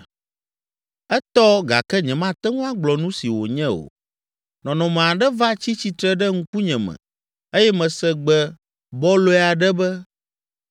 Etɔ gake nyemate ŋu agblɔ nu si wònye o. Nɔnɔme aɖe va tsi tsitre ɖe ŋkunye me eye mese gbe bɔlɔe aɖe be,